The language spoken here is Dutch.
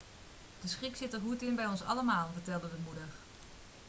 de schrik zit er goed in bij ons allemaal' vertelde de moeder